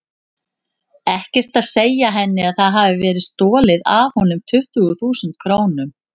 Ekkert að segja henni að það hafi verið stolið af honum tuttugu þúsund krónum.